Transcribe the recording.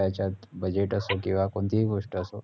budget असो किवा कोणतीही गोष्ट असो